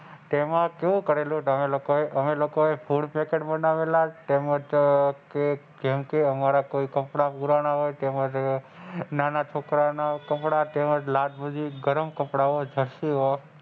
તેમાં જો કરેલો અમે લોકો એ ફૂડ પેકેટ બનાવેલા હતા તેમજ જેમકે કોઈ કપડાં પુરાણ હોય એ તેમજ નાના છોકરા ના કપડાં તેમજ ગરમ કપડાં,